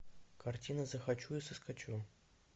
картина захочу и соскочу